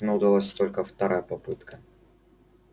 но удалась только вторая попытка